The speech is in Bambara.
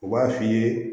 U b'a f'i ye